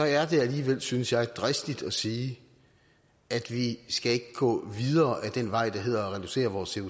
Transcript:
er det alligevel synes jeg dristigt at sige at vi skal gå videre ad den vej der hedder at reducere vores